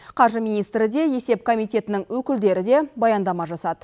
қаржы министрі де есеп комитетінің өкілдері де баяндама жасады